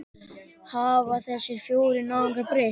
Hafa þessir fjórir náungar breyst?